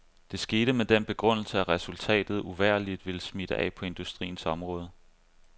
Det skete med den begrundelse, at resultatet uvægerligt ville smitte af på industriens område.